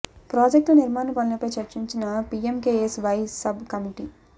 project ల నిర్మాణ పనులపై చర్చించిన పీఎంకేఎస్ వై సబ్ కమిటి